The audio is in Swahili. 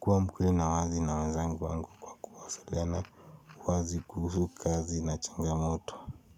kuwa mkweli na wazi na wanzangu wangu kwa kuwasiliana, wazi kuhusu kazi na changamoto.